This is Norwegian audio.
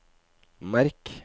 merk